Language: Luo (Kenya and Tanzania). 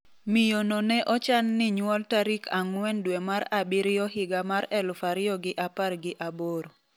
Miyo no ne ochan ni onyuol tarik ang'wen dwe mar abiriyo higa mar 2018.